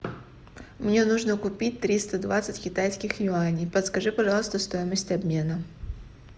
мне нужно купить триста двадцать китайских юаней подскажи пожалуйста стоимость обмена